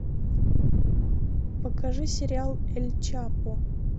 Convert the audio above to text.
покажи сериал эль чапо